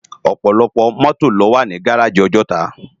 Òpòlòpò mòtó ló wá ni gáráji Òjòtá